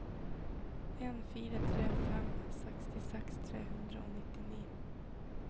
en fire tre fem sekstiseks tre hundre og nittini